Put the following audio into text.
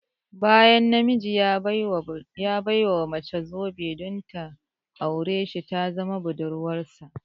Bayan na miji ya ɓai wa mace zobe don ta aure sh ta zama budurwarsa